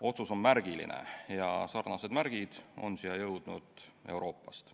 Otsus on märgiline ja sellekohased märgid on siia jõudnud Euroopast.